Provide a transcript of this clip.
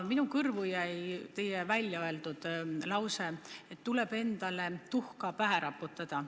Minu kõrvu jäi teie öeldud lause, et tuleb endale tuhka pähe raputada.